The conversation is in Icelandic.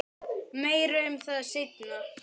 Meira um það seinna.